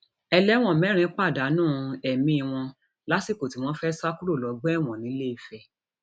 ẹlẹwọn mẹrin pàdánù ẹmí wọn lásìkò tí wọn fẹẹ sá kúrò lọgbà ẹwọn nìlééfẹ